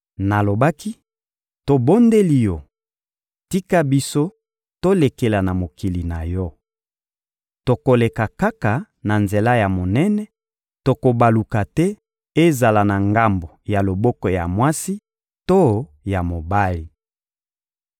Nalobaki: «Tobondeli yo, tika biso tolekela na mokili na yo. Tokoleka kaka na nzela ya monene, tokobaluka te ezala na ngambo ya loboko ya mwasi to ya mobali.